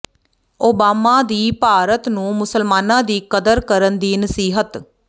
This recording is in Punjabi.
ਓਬਾਮਾ ਦੀ ਭਾਰਤ ਨੂੰ ਮੁਸਲਮਾਨਾਂ ਦੀ ਕਦਰ ਕਰਨ ਦੀ ਨਸੀਹਤ